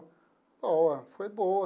Boa, foi boa.